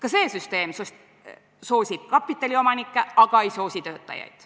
Ka see süsteem soosib kapitaliomanikke, aga ei soosi töötajaid.